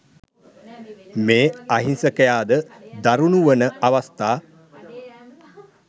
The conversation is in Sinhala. මේ අහිංසකයාද දරුණු වන අවස්ථා